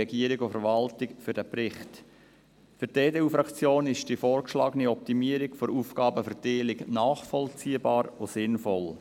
Für die EDU-Fraktion ist die vorgeschlagene Optimierung der Aufgabenverteilung nachvollziehbar und sinnvoll.